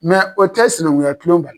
o tɛ sinankunya Kulo bali.